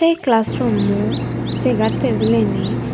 ei class rummo segar tebileni.